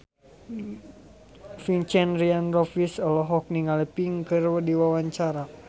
Vincent Ryan Rompies olohok ningali Pink keur diwawancara